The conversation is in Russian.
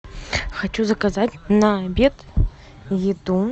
хочу заказать на обед еду